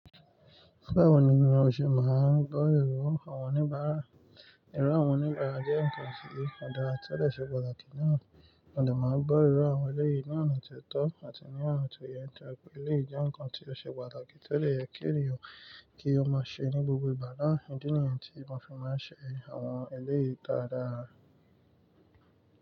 Báwo ni bi mò ṣe máa gbọ́ irọ àwọn oníbàárà? Ẹ̀rọ àwọn oníbàárà jẹ́ ǹnkan ti ọ̀ dàra ti ó dè ṣe pàtàkì náà. Mo de máa gbọ́ irọ àwọn ẹlẹ́yìí ní ọ̀nà ti ó tọ́ àti ní ọ̀nà ti ó yẹ tóri pé eléyi jẹ nǹkan tí ó ṣe pàtàkì tó dè yẹ kí èniyàn kí ó máa ṣe ní gbogbo ìgbà naá. Idí níyẹn tí mo fi máa ń ṣe àwọn ẹlẹ́yìí dáadáa.